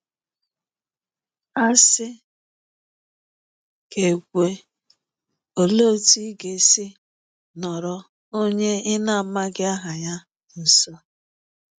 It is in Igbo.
A sị ka e kwuwe, olee otú ị ga-esi nọrọ onye ị na-amaghị aha ya nso?